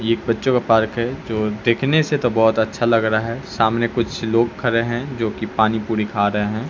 ये एक बच्चों का पार्क है जो देखने से तो बहोत अच्छा लग रहा है सामने कुछ लोग खड़े हैं जो की पानी पुरी खा रहे हैं।